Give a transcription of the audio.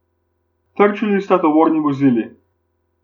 Trčili sta tovorni vozili.